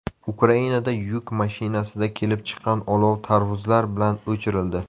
Ukrainada yuk mashinasida kelib chiqqan olov tarvuzlar bilan o‘chirildi.